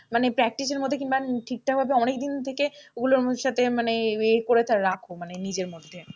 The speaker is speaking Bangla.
মানে practice এর মধ্যে কিংবা ঠিকঠাকভাবে অনেকদিন থেকে ওগুলোর সাথে মানে এ করে রাখো মানে নিজের মধ্যে।